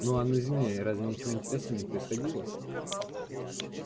ну а на земле разве ничего интересного не происходило